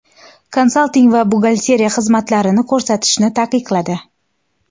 konsalting va buxgalteriya xizmatlarini ko‘rsatishni taqiqladi.